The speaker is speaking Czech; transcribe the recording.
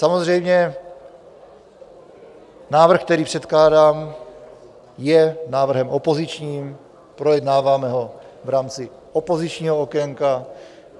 Samozřejmě návrh, který předkládám, je návrhem opozičním, projednáváme ho v rámci opozičního okénka.